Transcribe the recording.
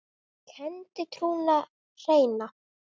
kenndi trúna hreina.